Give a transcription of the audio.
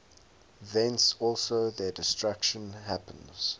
thence also their destruction happens